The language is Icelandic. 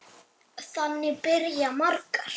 Þannig byrja margar.